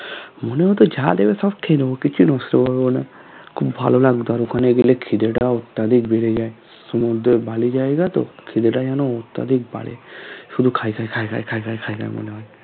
মনে হতো যা দেবে সব খেয়ে নেবো কিছু বুঝতে পারবো না খুব ভালো লাগতো আর ওখানে গেলে খিদেটাও বুঝে যায় সমুদ্রের বালি জায়গাতো খিদেটা যেন অত্যাধিক বাড়ে শুধু খাই খাই খাই খাই খাই খাই খাই খাই মনে হয়